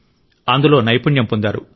అందులో నైపుణ్యం పొందారు